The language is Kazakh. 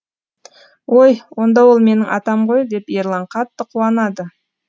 ой онда ол менің атам ғой деп ерлан қатты қуанады